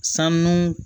Sanu